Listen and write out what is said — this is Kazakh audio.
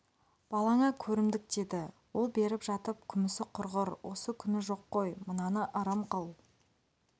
балаңа көрімдік деді ол беріп жатып күмісі құрғыр осы күні жоқ қой мынаны ырым қыл